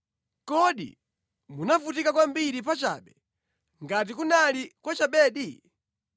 Kodi munavutika kwambiri pachabe, ngati kunali kwachabedi?